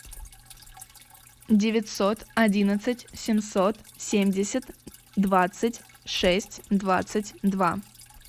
девятьсот одиннадцать семьсот семьдесят двадцать шесть двадцать два